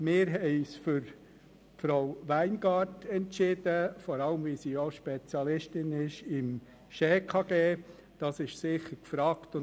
Wir haben uns für Frau Weingart-Schneider entschieden, vor allem weil sie Spezialistin auf dem Gebiet des Bundesgesetzes über Schuldbetreibung und Konkurs (SchKG) ist, was sicher sehr gefragt ist.